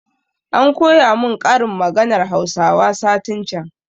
An koya mun ƙarin maganan hausawa satin can